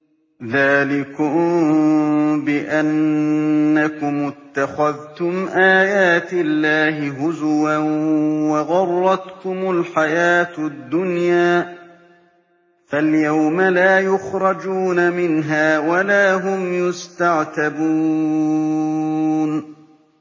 ذَٰلِكُم بِأَنَّكُمُ اتَّخَذْتُمْ آيَاتِ اللَّهِ هُزُوًا وَغَرَّتْكُمُ الْحَيَاةُ الدُّنْيَا ۚ فَالْيَوْمَ لَا يُخْرَجُونَ مِنْهَا وَلَا هُمْ يُسْتَعْتَبُونَ